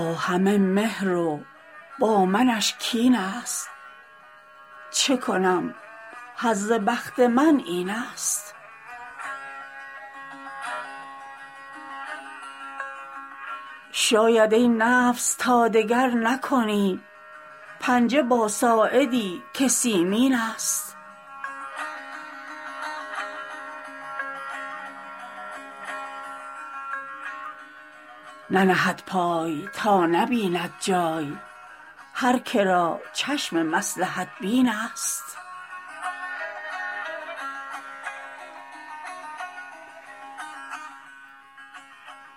با همه مهر و با منش کین ست چه کنم حظ بخت من این ست شاید ای نفس تا دگر نکنی پنجه با ساعدی که سیمین ست ننهد پای تا نبیند جای هر که را چشم مصلحت بین ست